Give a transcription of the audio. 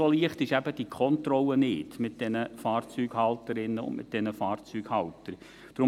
So leicht ist die Kontrolle dieser Fahrzeughalterinnen und Fahrzeughalter eben nicht.